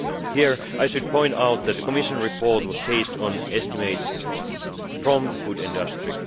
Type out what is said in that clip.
Here I should point out that the Commission report was based on estimates from the food industry.